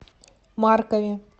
маркове